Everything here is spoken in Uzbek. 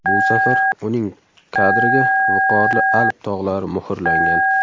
Bu safar uning kadriga viqorli Alp tog‘lari muhrlangan.